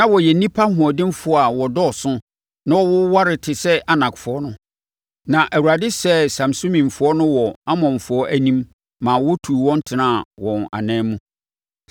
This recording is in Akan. Na wɔyɛ nnipa ahoɔdenfoɔ a wɔdɔɔso na wɔwoware te sɛ Anakfoɔ no. Na Awurade sɛee Samsumifoɔ no wɔ Amonfoɔ anim ma wɔtuu wɔn tenaa wɔn anan mu.